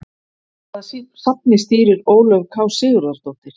Hvaða safni stýrir Ólöf K Sigurðardóttir?